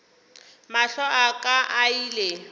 mahlo a ka a ile